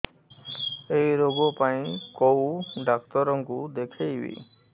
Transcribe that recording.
ଏଇ ରୋଗ ପାଇଁ କଉ ଡ଼ାକ୍ତର ଙ୍କୁ ଦେଖେଇବି